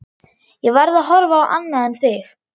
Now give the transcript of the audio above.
Ég verð að horfa á annað en þig.